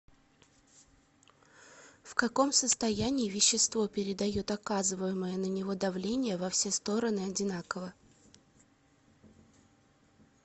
в каком состоянии вещество передает оказываемое на него давление во все стороны одинаково